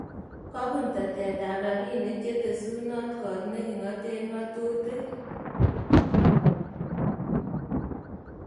Kobuun teteetab rabiniik chetesunot koot ne king�aten ng�otutik